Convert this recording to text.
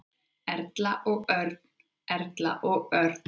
Erla og Örn. Erla og Örn.